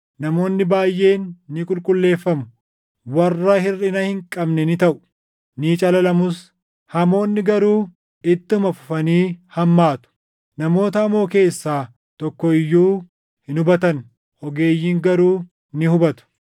Namoonni baayʼeen ni qulqulleeffamu; warra hirʼina hin qabne ni taʼu; ni calalamus; hamoonni garuu ittuma fufanii hammaatu. Namoota hamoo keessaa tokko iyyuu hin hubatan; ogeeyyiin garuu ni hubatu.